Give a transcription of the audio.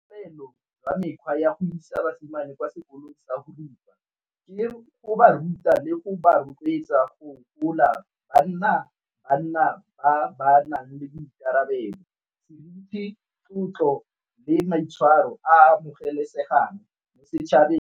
tsa go isa basimane kwa sekolong sa go rupa ke go ba ruta le go ba rotloetsa go gola ba nna banna ba nang le boikarabelo, seriti, tlotlo le maitshwaro a a amogelesegang setšhabeng.